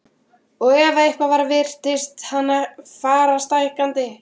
Og ef eitthvað var virtist hann fara stækkandi.